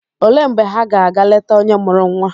Olee mgbe ha ga ga leta onye mụrụ nwa?